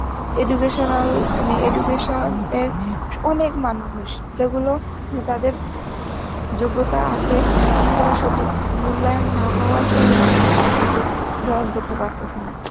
educational, মানে education এর অনেক মানুষ যেগুলো তাদের যোগ্যতা আসে কিন্তু তারা সঠিক মূল্যায়ন না পাওয়ার ফলে কিন্তু চাকরিতে join করতে পারতাসে না.